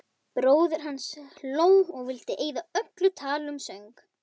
Bróðir hans hló og vildi eyða öllu tali um söng.